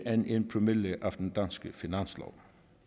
end en promille af den danske finanslov